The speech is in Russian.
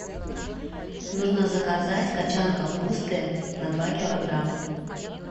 нужно заказать кочан капусты на два килограмма